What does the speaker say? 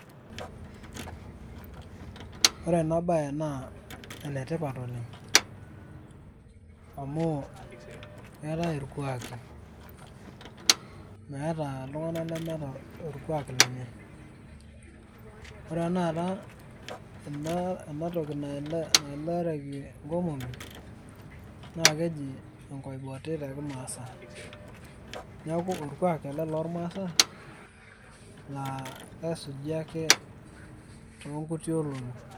Ore enabae naa enetipat oleng'. Amuu ketae irkuaki. Meeta iltung'anak lemeeta orkuak lenye. Ore tanakata ena toki naelareki inkomomi, naa keji enkoboti tekimaasai. Neeku orkuak ele lormasai, la esuji ake tonkuti olong'i.